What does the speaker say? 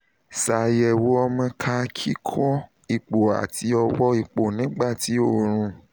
ṣayẹwo ọmọ ká kikọ ipo ati ọwọ ipo nigba ti oorun